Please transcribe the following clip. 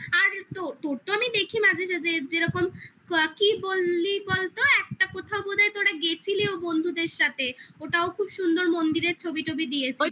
আর তোর তো আমি দেখি মাঝে সাঝে যেরকম কি বললি বলতো একটা কোথাও বোধহয় তোরা গেছিলি ও বন্ধুদের সাথে খুব সুন্দর মন্দিরের ছবি টবি দিয়েছিস